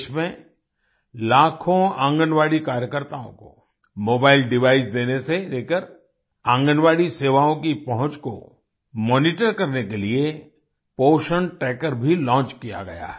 देश में लाखों आंगनबाड़ी कार्यकर्ताओं को मोबाइल डिवाइसेज देने से लेकर आंगनबाड़ी सेवाओं की पहुँच को मॉनिटर करने के लिए पोषण ट्रैकर भी लॉन्च किया गया है